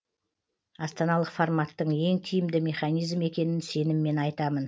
астаналық форматтың ең тиімді механизм екенін сеніммен айтамын